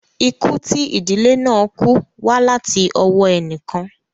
Ikú tí ìdílé náà kú wá láti ọwọ́ ẹnì kan